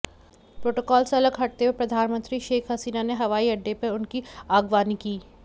protocol से अलग हटते हुए प्रधानमंत्री शेख हसीना ने हवाई अड्डे पर उनकी आगवानी की